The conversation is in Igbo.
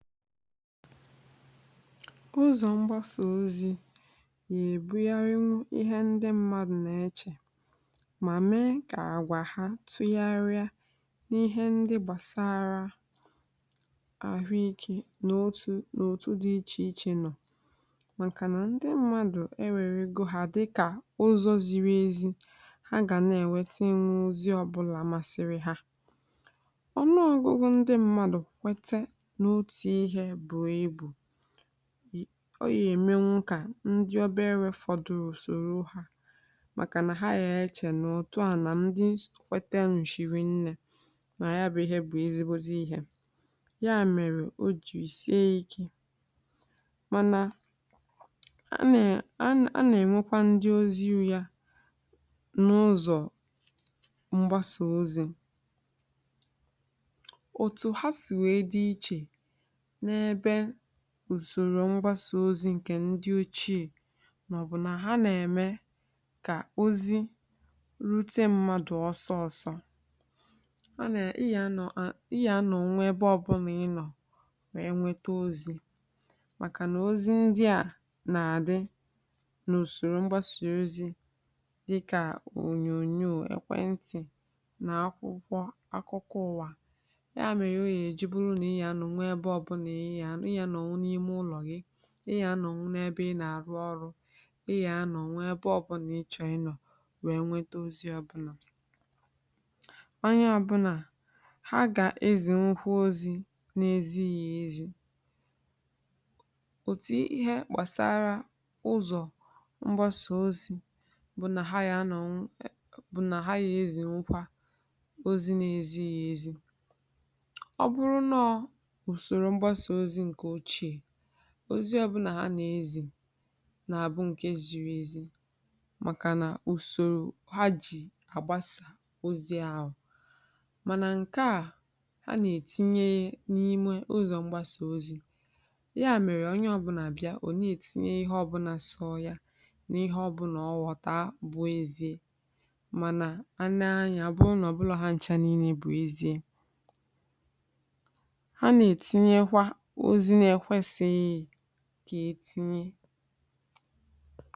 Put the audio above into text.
Mgbasà ozi na-agbanwe otú ǹdí mmadụ si eche, ma nwekwara ike imetụta àgwà ha gbasàrà àhụikè n’ụzọ̀ dị iche iche. Nke a na-eme n’ihi na ǹdí mmadụ na-ele mgbasa ozi anya dịka ebe ha nwere ike inweta ozi ọ bụla ha chọrọ. Mgbe ụfọdụ, nke a na-eme ka ǹdí mmadụ, karịsịa ǹdí obere afọ, kwere ma soro ihe ọ bụla ha hụrụ̀ dịka eziokwu um, ọbụna mgbe ọ bụghị eziokwu. Nke a bụ ihe kpatara o ji sie ike ijikwa ya. Ma, e nwekwara akụkụ ọma, n’ihi na mgbasà ozi na-enyere aka ịkesa ozi dị mkpa ngwa ngwa. N’oge gara aga, ǹdí mmadụ ji ụzọ ochie na-ebuga ozi. Ma taa um, mgbasà ozi na-eme ngwa ngwa. Ị nwere ike inweta ozi ebe ọ bụla ị nọ n’ụlọ, n’ebe ọrụ, maọ̀bụ̀ ebe ọ bụla ị họrọ̀ site n’ụzọ dị iche iche dịka onyonyo, ekwentị, na akwụkwọ. Ozi na-eru ǹdí mmadụ ebe niile, ma onye ọbụla nwekwara ike ịkesa ozi ngwa ngwa. Nsogbu bụ na ọ bụghị ozi niile a na-ekesa bụ eziokwu. Ǹdí mmadụ ụfọdụ na-eziga ozi na-ezighi ezi um, ọbụna mgbe ụzọ ha ji ebufe ya bụ ụzọ ziri ezi. Ihe ọma gbasara usoro mgbasà ozi bụ na ọ na-enyere ǹdí mmadụ aka ịkpọkọta na ịkesa ozi mfe. Ma mgbe ejiri ya n’ụzọ na-adịghị mma um, ọ nwere ike ịkesa ozi ụgha maọ̀bụ̀ ihe nwere ike imetụta ndị mmadụ ọjọọ. Ya mere, ǹdí mmadụ kwesịịrị ilebara ihe ha na-ekesa na nke ha na-ekwere anya, ọbụna ma ọ bụrụ na ọ na-adị ka eziokwu.